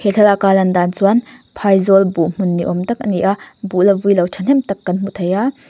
thlalaka a lan dan chuan phaizawl buh hmun ni awm tak a ni a buh la vui lo thahnem tak kan hmu thei a.